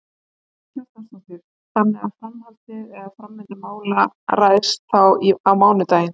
Karen Kjartansdóttir: Þannig að framhaldið, eða framvinda mála ræðst þá á mánudaginn?